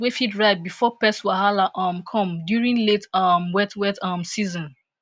plenty harvest crops wey fit ripe bfor pest wahala um come during late um wet wet um season